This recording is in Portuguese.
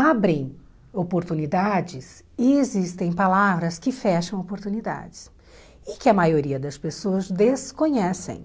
abrem oportunidades e existem palavras que fecham oportunidades e que a maioria das pessoas desconhecem